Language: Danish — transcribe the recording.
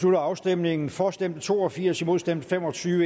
slutter afstemningen for stemte to og firs imod stemte fem og tyve